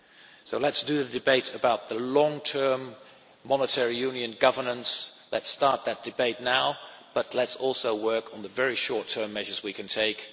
term. So let us have a debate about long term monetary union governance, let us start that debate now, but let us also work on the very short-term measures we can